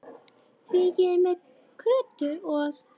Því ég er með Kötu og